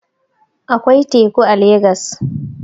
Akwai teku a legas